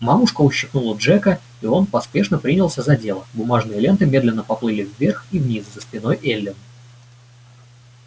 мамушка ущипнула джека и он поспешно принялся за дело бумажные ленты медленно поплыли вверх и вниз за спиной эллин